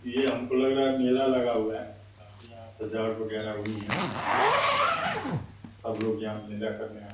ये हमको लग रहा है मेला लगा हुआ है। काफी यहाँ सजावट वगैरह हुई हैं। झूला वगैरह सब सब लोग यहाँ मेला करने आये --